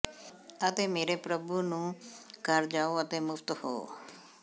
ਅਤੇ ਮੇਰੇ ਪ੍ਰਭੂ ਨੂੰ ਘਰ ਜਾਓ ਅਤੇ ਮੁਫ਼ਤ ਹੋ